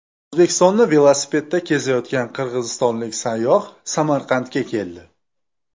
O‘zbekistonni velosipedda kezayotgan qirg‘izistonlik sayyoh Samarqandga keldi.